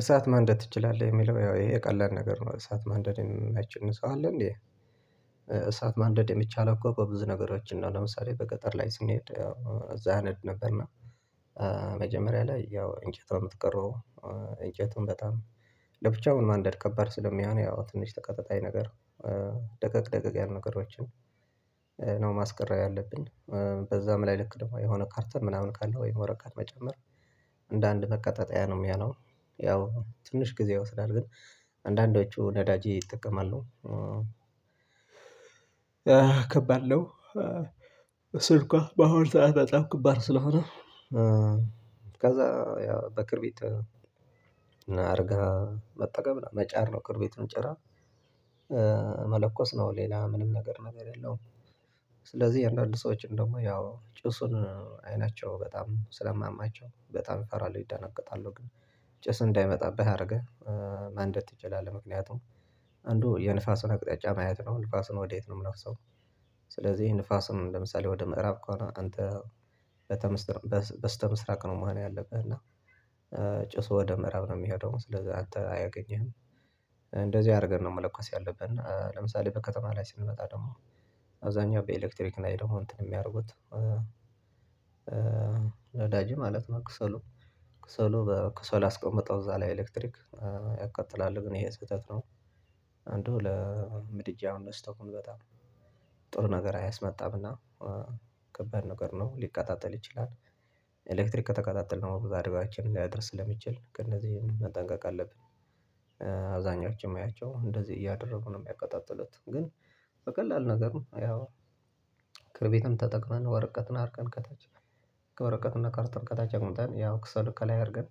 እሳት ማንደር ትችላለህ? የሚለው ያው ኢሄ ቀላል ነገር ነው። እሳት ማንደድ የማይችል ሰው አለ እንዴ? እሳት ማንደድ የሚቻለው አኮ በብዙ ነገሮች ነው። ለምሳሌ በገጠር ላይ ስንሄድ እዛ አነድ ነበርና መጀመሪያ ላይ ያው እንጨት ነው የምትቀረው እንጨቱን በጣም ለብቻውን ማንደድ ከባድ ስለሚሆን ያው ትንሽ ተቀጣጣይ ነገር ደቀቅ ደቀቅ ያለ ነገሮችን ነው ማስቀረብ ያለብን። በዛም ላይ ልክ ደግሞ የሆነ ካርቶን ምናምን ካለ ወይም ወረቀት መጨመር እንደ አንድ ማቀጣጠያ ነው የሚያሆነው። ያው ትንሽ ጊዜ ይወስዳል ግን አንዳንዳችሁ ነዳጅ ይጠቀማልሉ። ከባድ ነው እሱእንኳ በአሁኑ ሰዓት በጣም ከባድ ስለሆነ ከዛ ያው በክርቢት አድርገህ መጠቀም መጫር ነው ክርቢቱን ጭረህ መለኮስ ነው ሌላ ምንም ነገር የለውም። ስለዚህ አንዳንድ ሰዎች ደግሞ ያው ጭሱን አይናቸው በጣም ስለሚማያቸው በጣም ይፈራሉ፤ ይደነገጣሉ፤ ግን ጭስ እንዳይመጣብህ አደረገህ ማንደድ ትችላለህ። አንዱ የንፋሱን አቅጣጫ ማየት ነው ንፋሱን ወዴት ነው የሚለው ሀሳብ ስለዚህ ንፋሱም ለምሳሌ ወደ ምዕራብ ከሆነ አንተ በስተምስራቅ ነው መሆን ያለብህ እና ጭሱ ወደ ምዕራብ ነው የሚሄደው ስለዚህ አንትን አያገኝህም። እንደዚህ አድርገን ነው መለኮስ ያለብን። እና ለምሳሌ በከተማ ላይ ስንመጣ ደግሞ አብዛኛው በኤሌክትሪክ ላይ ደግሞ እንትን የሚያደርጉት ነዳጅ ማለት ነው ከሰሉ ከሰል አስቀምጠው እዛ ላይ ኤሌክትሪክ ያቀጣጥላል ግን ይሄ ስህተት ነው አንዱ ለምድጃውን ለስቶቩም በጣም ጥሩ ነገር አያስመጣምና ከባድ ነገር ነው ሊቀጣጠል ይችላል። ኤሌትሪክ ከተቀጣጠለ ደግሞ ብዙ አደጋዎቾን ሊያደርስ ስለሚችል መጠንቀቅአለብን። አብዛኛዎቹም የማያቸው እንደዚህ እያደረጉ ነው የሚያቀጣጥሉት። ግን በቀላል ነገር ያው ክርቢትም ተጠቅመን ወረቀትን አርገን ከታች ከወረቀትና ካርቶን አምጥተን ያው ከሰሉ ከላይ አድርገን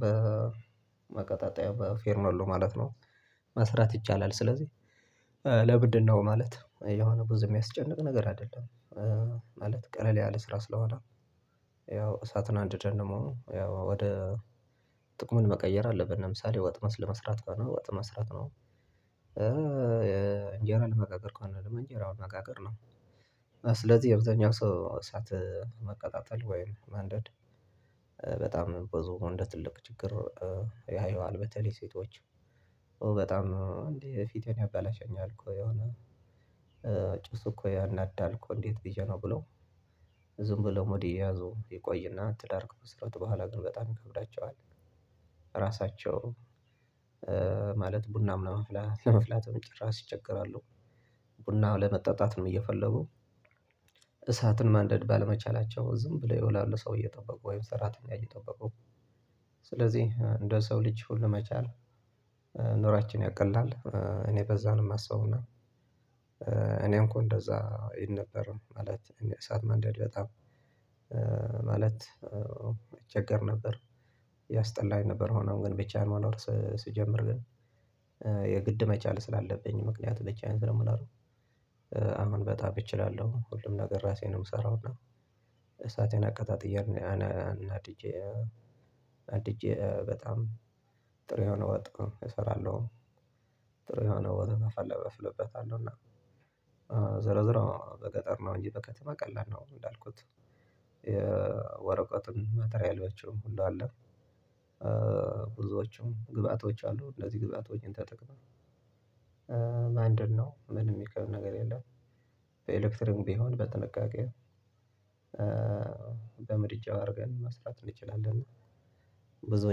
በማቀጣጠያ በፌርሜሎ ማለት ነው መስራት ይቻላል። ስለዚህ ለምንድን ነው ማለት የሆነ ብዙ የሚያስጨንቅ ነገር አይደለም። ማለት ቀለል ያለ ስራ ስለሆነ ያው እሳቱን አንድደን ደግሞ ያው ወደ ጥቅሙን መቀየር አለብን ለምሳሌ ወጥ ለመስራት ከሆነ ወጥ መስራት ነው። እንጀራ ለመጋገር ከሆነ እንጀራ መጋገር ነው። አብዛኛው ሰው እሳት ማቀጣጠል ወይም ማንደድ በጣም ብዙ እንደ ትልቅ ችግር ያየዋል በተለይ ሴቶች በጣም እንዴ ፊቴን ያበላሸኛል እኮ የሆነ ጭሱ እኮ ያናዳል እኮእንዴት ብዬ ነው ብለው ዝም ብለው ይቆዮና ትዳር ከመሰረቱ በኋላ ግን በጣም ይከብዳቸዋል። ራሳቸው ማለት ቡናም ለማፍላት ችራሽ ይቸገራሉ። ቡናም ለመጣጣትም እየፈለጉ እሳትን ማንደድ ባለመቻላቸው ዝም ብለው ይውላሉ። ሰው እጠበቁ ወይም ሰራተኛ እየጠበቁ ስለዚህ እንደ ሰው ልጅ ሁሉ መቻል ኑራችን ያቀላል። እኔ በዛ ነው የማስበውና እኔም እኮ እንደዛ እል ነበር ማለት እኔ እሳት ማንደድ በጣም እቸገር ነበር ያስጠላኝ ነበር ሆኖም ግን ብቻ መኖር ስጀምር ግን የግድ መቻል ስላለብኝ ምክንያት ብቻዬን ስለምኖር አሁን በጣም እችላለሁ። ሁሉም ነገር ራሴ ነው የምሰራው እና እሳቴን አቀጣጥዬ አንድጄ በጣም ጥሩ የሆነ ወጥ እሰራለሁ። ጥሩ የሆነ ወጥ አፈላበታለሁ እና ዞሮዞሮ በገጠር ነው እንጂ በከተማ ቀላል ነው እንዳልኩት ማቴሪያሎቹንም ሁሉ አለ። ብዙዎቹም ግብአቶች አሉ። እነዚህ ግብአቶችን ተጠቅመው ምንድን ነው? ምንም የሚከብድ ነገር የለም። በኤሌክትሪኩም ቢሆን በጥንቃቄ በምድጃው አድርገን መስራት እንችላለን። ብዙ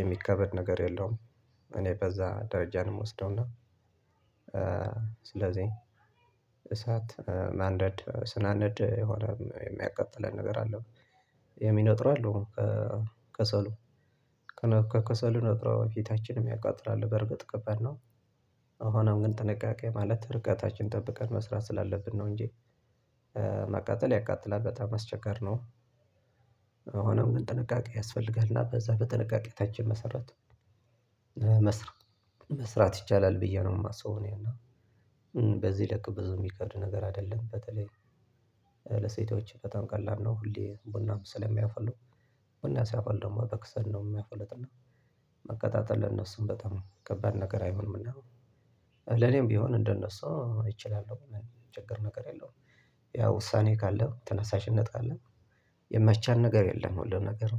የሚካበድ ነገር የለውም እኔ በዛ ደረጃ ነው ምወስደውና ስለዚህ እሳት ማንደድ ስናነድ የሆነ የሚያቀጥለን ነገር አለው የሚነጥሩ አሉ። ከሰሉ ከሰሉ ነጥሮ ፊታችንም ያቃጥላል። በርግጥ ከባድ ነው። አሁንም ግን ጥንቃቄ ማለት ርቀታችን ጠብቀን መስራት ስላለብን ነው እንጂ መቃጠል ያቃጥላል። በጣም አስቸጋሪ ነው። ሆኖም ጥንቃቄ ያስፈልጋል። እና በዛ በጥንቃቄ መሰረት መስራት ይቻላል ብዬ ነው የማስበው እኔና በዚህ ልክ ብዙ የከብድ ነገር አይደለም በተለይ ለሴቶች በጣም ቀላል ነው። ሁሌ ቡናም ስለሚያፈሉ። እና ሲያፈሉ ደግሞ በከሰል ነው የሚያፈሉትም። ማቀጣጠል ለነሱም በጣም ከባድ ነገር አይሆንም እና ለኔም ቢሆን እንደነሱ እችላለሁ የሚቸግር ነገር የለውም። ያው ውሳኔ ካለ፤ ተነሳሽነት ካለ የማይቻል ነገር የለም ሁሉ ነገር